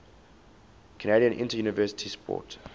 canadian interuniversity sport